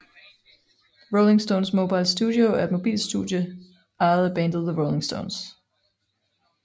Rolling Stones Mobile Studio er et mobilt studie ejet af bandet The Rolling Stones